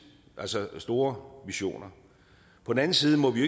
altså med store visioner på den anden side må vi